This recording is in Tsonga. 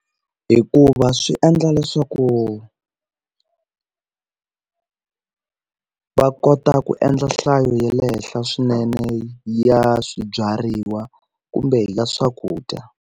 Hikuva swi endla leswaku va kota ku endla nhlayo ya le henhla swinene ya swibyariwa kumbe ya swakudya.